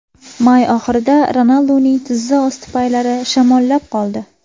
May oxirida Ronalduning tizza osti paylari shamollab qoldi.